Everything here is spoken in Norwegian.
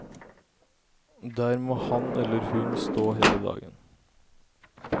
Der må han eller hun stå hele dagen.